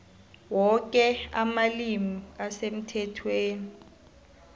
woke amalimi asemthethweni